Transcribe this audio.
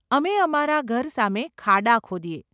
અમે અમારા ઘર સામે ખાડા ખોદીએ.